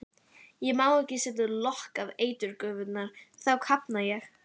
Ég má ekki setja lok á eiturgufurnar, þá kafna ég.